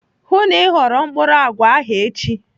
Hụụ na Ị ghọrọ mkpụrụ àgwà ahụ echi.